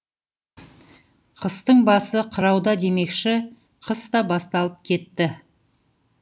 қыстың басы қырауда демекші қыс та басталып кетті